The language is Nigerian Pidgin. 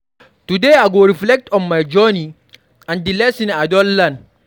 Today, I go reflect on my journey and di lessons I don learn.